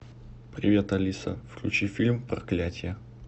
привет алиса включи фильм проклятие